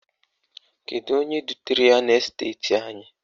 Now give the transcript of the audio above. Kedu onye dutere ya n'esteti anyị?